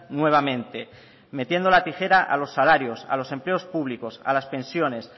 nuevamente metiendo la tijera a los salarios a los empleos públicos a las pensiones